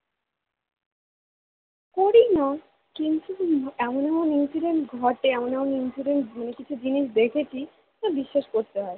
করি না কিন্তু এমন এমন incident ঘটে এমন এমন incident মানে কিছু জিনিস দেখেছি বিশ্বাস করতে হয়